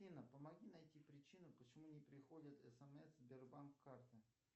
афина помоги найти причину почему не приходят смс сбербанк карты